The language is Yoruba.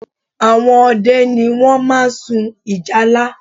Àwọn ọdẹ ni wọ́n máa ń sun ìjálá